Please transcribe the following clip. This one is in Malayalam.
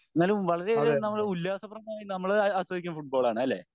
എന്നാലും വളരെയധികം നമ്മൾ ഉല്ലാസപ്രദമായി നമ്മൾ ആസ്വദിക്കേ ഫുട്ബോൾ ആണ് അല്ലെ?